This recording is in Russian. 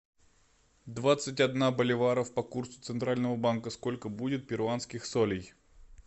двадцать одна боливара по курсу центрального банка сколько будет перуанских солей